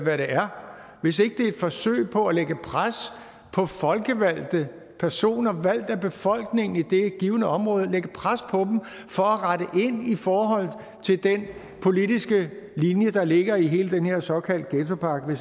er hvis ikke det er et forsøg på at lægge pres på folkevalgte personer valgt af befolkningen i det givne område for at rette ind i forhold til den politiske linje der ligger i hele den her såkaldte ghettopakke